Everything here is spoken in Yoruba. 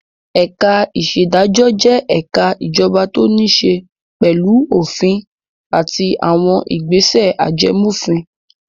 Ẹ̀ka-ìṣèdájọ́ jẹ́ ẹ̀ka ìjọba tó níṣe pẹ̀lú òfin àti àwọn ìgbésẹ̀ ajẹmófin.